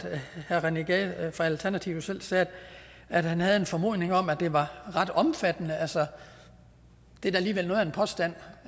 herre rené gade fra alternativet selv sagde at han havde en formodning om at det var ret omfattende altså det er da alligevel noget af en påstand